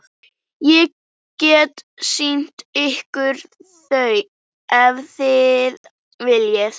Ég get sýnt ykkur þau ef þið viljið.